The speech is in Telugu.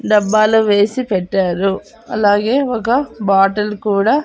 డబ్బాలో వేసి పెట్టారు అలాగే ఒక బాటిల్ కూడా.